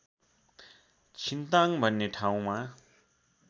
छिन्ताङ भन्ने ठाउँमा